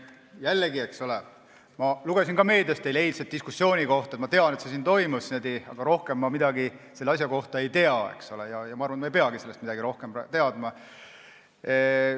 Jällegi, ma lugesin meediast teie eilse diskussiooni kohta, ma tean, et see siin toimus, aga rohkem ma midagi selle asja kohta ei tea ja ma arvan, et ma ei peagi sellest midagi rohkem teadma.